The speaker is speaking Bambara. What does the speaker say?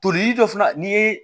Toli dɔ fana n'i ye